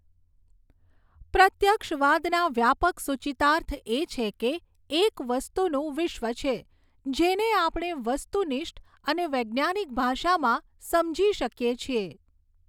પ્રત્યક્ષવાદના વ્યાપક સૂચિતાર્થ એ છે કે એક વસ્તુનું વિશ્વ છે, જેને આપણે વસ્તુનિષ્ઠ અને વૈજ્ઞાનિક ભાષામાં સમજી શકીએ છીએ.